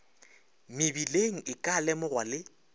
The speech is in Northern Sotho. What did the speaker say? mebileng e ka lemogwa le